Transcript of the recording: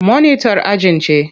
Monitar ajin ce.